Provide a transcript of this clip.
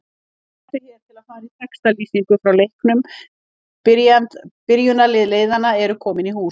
Smelltu hér til að fara í textalýsingu frá leiknum Byrjunarlið liðanna eru komin í hús.